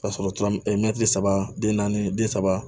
Ka sɔrɔ tɔrɔ mɛtiri saba den naani den saba